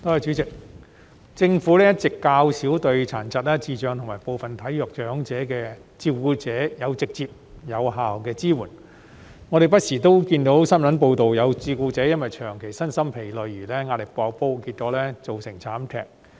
代理主席，政府一直較少對殘疾、智障及部分體弱長者的照顧者提供直接和有效的支援，我們不時看到新聞報道指有照顧者因為長期身心疲累而壓力"爆煲"，結果造成慘劇。